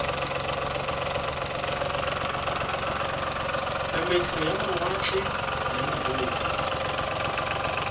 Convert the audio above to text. tsamaiso ya mawatle le mabopo